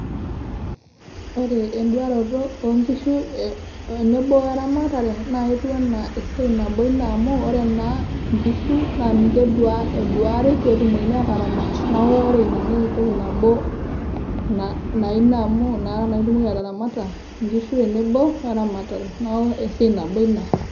Ore enduaroto oo nkishu oo enebo we eramatare naa eketiu enaa esiai nabo ina amu ore naa nkishu naa ninche eduari pee etumokini aataramata neeku ore in ana entoki nabo naa ina amu nakata itumoki ataramata nkishu tenebo oo eramatare, neeku esiai nabo ina.